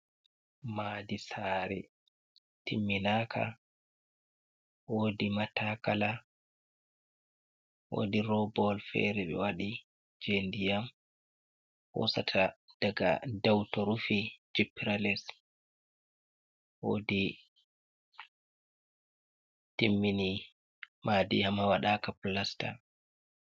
Madi sare timminaka, wodi matakala wodi robawol fere ɓe waɗi je ndiyam hosata daga dow to rufi jippirales. wodi timmini madi amma waɗaka pilasta.